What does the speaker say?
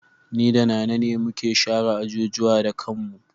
Ni da Nana ne muka share ajujuwa da kanmu.